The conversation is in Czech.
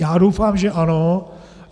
Já doufám, že ano.